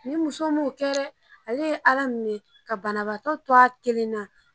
Nin muso m'o kɛ dɛ ale ye ala minɛ ka banabaatɔ to a kelen na